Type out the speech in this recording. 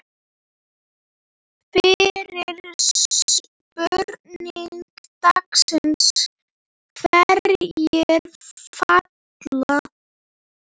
Fyrri spurning dagsins: Hverjir falla?